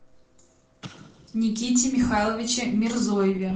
никите михайловиче мирзоеве